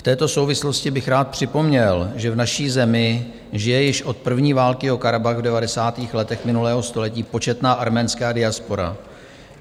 V této souvislosti bych rád připomněl, že v naší zemi žije již od první války o Karabach v devadesátých letech minulého století početná arménská diaspora.